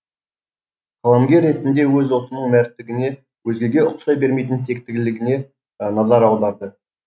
қаламгер ретінде өз ұлтының мәрттігіне өзгеге ұқсай бермейтін тектілігіне назар аударды